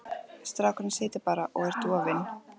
Strákurinn situr bara og er dofinn.